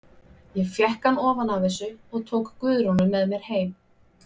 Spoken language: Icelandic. Ég fékk hann ofan af þessu og tók Guðrúnu með mér heim.